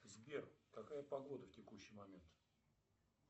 сбер какая погода в текущий момент